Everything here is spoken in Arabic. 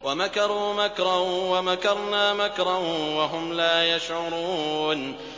وَمَكَرُوا مَكْرًا وَمَكَرْنَا مَكْرًا وَهُمْ لَا يَشْعُرُونَ